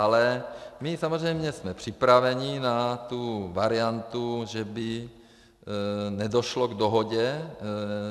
Ale my samozřejmě jsme připraveni na tu variantu, že by nedošlo k dohodě.